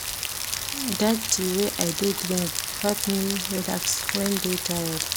Dat tea wey I dey drink dey help me relax wen dey tired.